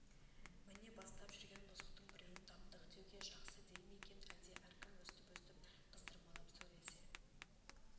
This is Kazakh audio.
міне бастап жүрген бұзықтың біреуін таптық деуге жақсы дей ме екен әлде әркім өстіп-өстіп қыздырмалап сөйлесе